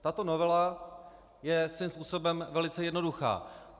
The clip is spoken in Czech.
Tato novela je svým způsobem velice jednoduchá.